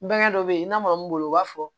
Bange dɔ bɛ yen i n'a fɔ mun bolo u b'a fɔ